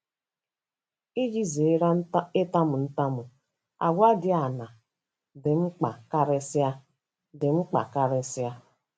Iji zere ịtamu ntamu, àgwà dị aṅaa dị mkpa karịsịa? dị mkpa karịsịa?